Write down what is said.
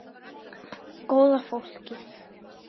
Góða fólkið.